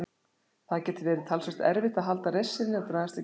Það geti verið talsvert erfitt að halda reisn sinni og dragast ekki aftur úr.